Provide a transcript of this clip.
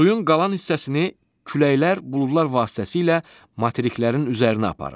Suyun qalan hissəsini küləklər buludlar vasitəsilə materiklərin üzərinə aparır.